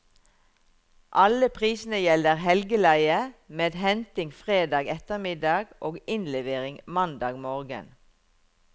Alle prisene gjelder helgeleie, med henting fredag ettermiddag og innlevering mandag morgen.